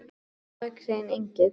Hann var risavaxinn Engill.